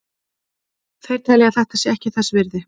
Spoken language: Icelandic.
Þeir telja að þetta sé ekki þess virði.